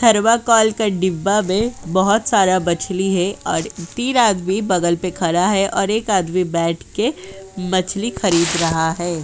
Thermocol डिब्बे में बोहोत सारा मछली है और तीन आदमी बगल पे खड़ा है और एक आदमी बैठ के मछली खरीद रहा है।